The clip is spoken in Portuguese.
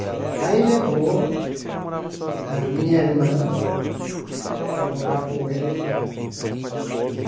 Aí levou a minha irmã para morar com eles lá.